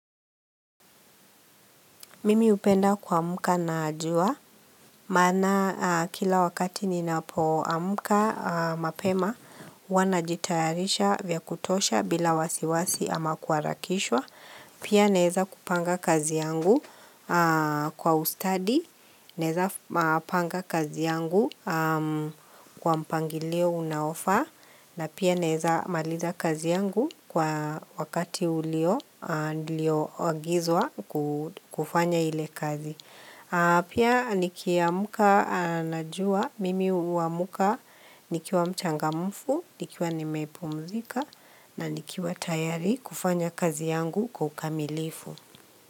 Mimi hupenda kuamka na jua, maana kila wakati ninapoamka mapema, huwa najitayarisha vya kutosha bila wasiwasi ama kuharakishwa. Pia naeza kupanga kazi yangu kwa ustadi, naeza panga kazi yangu kwa mpangilio unaofaa, na pia naeza maliza kazi yangu kwa wakati ulio, nilioagizwa kufanya ile kazi. Pia nikiamka najua mimi huamka nikiwa mchangamfu, nikiwa nimepumzika na nikiwa tayari kufanya kazi yangu kwa ukamilifu.